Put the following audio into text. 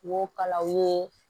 N b'o kala u ye